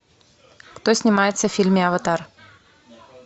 кто снимается в фильме аватар